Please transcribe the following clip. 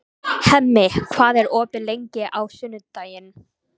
Hemmi, hvað er opið lengi á sunnudaginn?